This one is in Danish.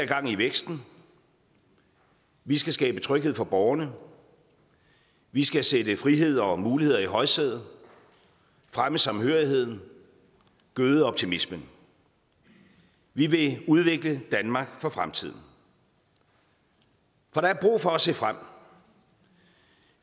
gang i væksten vi skal skabe tryghed for borgerne vi skal sætte frihed og muligheder i højsædet fremme samhørigheden gøde optimismen vi vil udvikle danmark for fremtiden for der er brug for at se frem